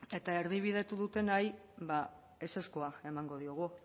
eta erdibidetu dutenari ba ezezkoa emango diogu